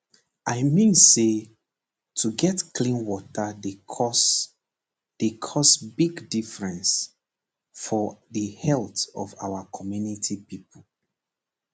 i mean say to get clean water dey cause dey cause big difference for the heallth of our community pipo